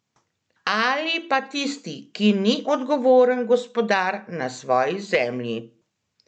Ali pa tisti, ki ni odgovoren gospodar na svoji zemlji?